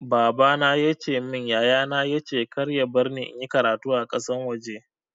Baba na ya ce min yaya na ya ce kar ya barni in yi karatu a ƙasan waje.